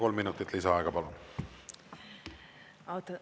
Kolm minutit lisaaega, palun!